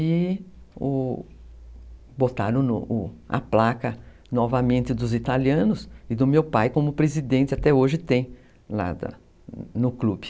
E, o, botaram a placa novamente dos italianos e do meu pai, como presidente até hoje tem lá no clube.